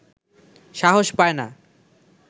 সাহস পায় না